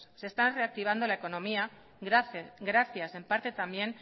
se está reactivando la economía gracias en parte también